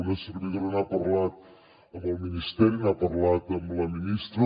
una servidora n’ha parlat amb el ministeri n’ha parlat amb la ministra